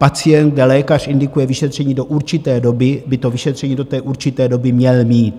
Pacient, kde lékař indikuje vyšetření do určité doby, by to vyšetření do té určité doby měl mít.